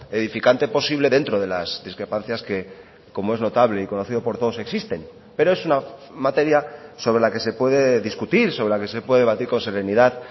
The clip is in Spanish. edificante posible dentro de las discrepancias que como es notable y conocido por todos existen pero es una materia sobre la que se puede discutir sobre la que se puede debatir con serenidad